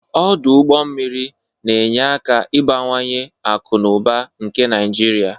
Ọdọ ụgbọ mmiri na-enye aka ịbawanye akụ na ụba nke Naịjirịa.